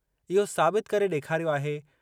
इहो साबित करे ॾेखारियो आहे।